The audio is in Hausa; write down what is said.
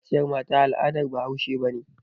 Yin kaciyar mata al'adar bahaushe ba ne.